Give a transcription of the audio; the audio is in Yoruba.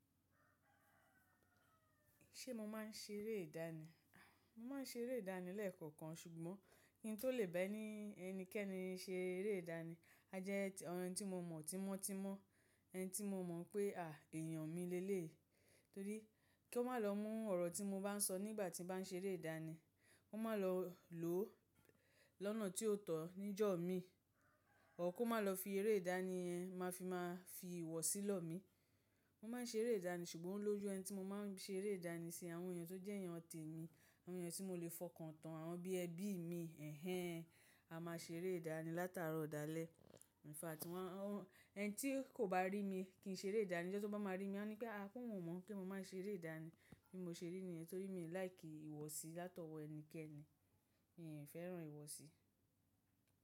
Ṣé mo máa ń ṣe eré ìdánì? Mo máa ń ṣe eré ìdánì lẹ́ẹ̀kọ̀kan ṣùgbọ́n kí n tó le bá ẹni ẹnikẹ́ni ṣe eré ìdánì, a jẹ́ ẹni tí mo mọ̀ tímọ́tímọ́, ẹni tí mo mọ̀ pé à èèyàn mi leleyí. Torí kí ó má lọ mú ọ̀rọ̀ tí mo bá ń sọ nígbà tí bá ń ṣe eré ìdánì, kó má lọ lò ó lọ́nà tí ó tọ̀ níjọ́ mi, ọ̀r kó má lọ fi eré ìdánì yẹn máa fi má fi ìwọ̀sí lọ̀ mí. Mo máa ń ṣe eré ìdánì ṣùgbọ́n o lójú ẹni tí mo máa ń ṣe eré ìdánì sí, àwọn èèyàn tó jẹ́ èèyàn tèmi, àwọn èèyàn tí mo lè fọkàn tán, àwọn bí ẹbí mi, ẹ̀hen, a máa ṣe eré ìdánì látàárọ̀ dàlẹ̀. Ìnfact, ẹni tí kò bá rí mi kí n ṣe eré ìdánì, tí wọ́n bá rí mi wọ́n ní pé a kò mọ̀ mọ́ kí mo má ṣe eré ìdánì bí mo ṣe rí niyàn torí mi ò láìkì ìwọ̀sí látọwọ ẹnikẹ́ni. Mi ò fẹ́ràn ìwọ̀sí.